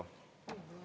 Palju mul aega on?